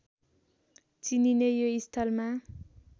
चिनिने यो स्थलमा